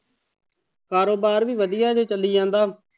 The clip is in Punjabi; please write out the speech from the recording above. ਕਾਰੋਬਾਰ ਵੀ ਵਧੀਆ ਹਜੇ ਚੱਲੀ ਜਾਂਦਾ।